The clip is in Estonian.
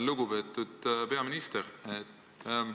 Lugupeetud peaminister!